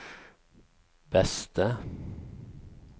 beste